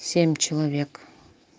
семь человек